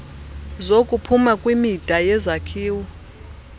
zokuphuma kwimida yezakhiwo